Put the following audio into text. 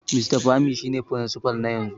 Mr Pami shine Firinsifal na yanzu.